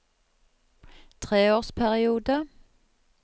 treårsperiode